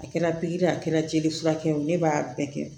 A kɛra pikiri ye a kɛra jeli furakɛ o ne b'a bɛɛ kɛ